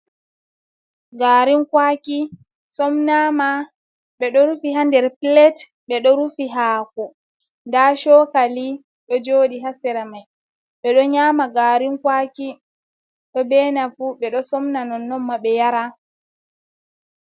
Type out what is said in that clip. Garin kwaki somnama, ɓe ɗo rufi haa nder pilet, ɓe ɗo rufi haako, nda chokali ɗo jooɗi haa sra mai. Ɓe ɗo nyama garin kwaki ɗo dena fu, ɓe ɗo somna nonnon ma ɓe yara.